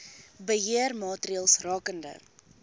beheer maatreëls rakende